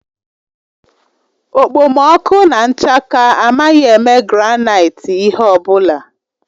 Okpomọkụ na nchaka amaghị eme granaịti ihe ọ bụla.